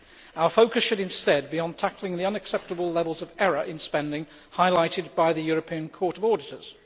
Our focus should instead be on tackling the unacceptable levels of error in spending highlighted by the European Court of Auditors.